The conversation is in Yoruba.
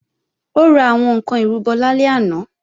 Ó ra àwọn ǹkan ìrúbọ lálẹ́ àná